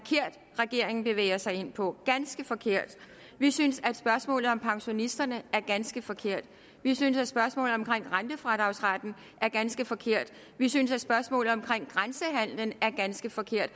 regeringen at bevæge sig ind på ganske forkert vi synes at spørgsmålet om pensionisterne er ganske forkert vi synes at spørgsmålet om rentefradragsretten er ganske forkert vi synes at spørgsmålet om grænsehandelen er ganske forkert